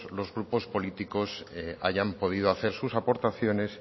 los grupos políticos hayan podido hacer sus aportaciones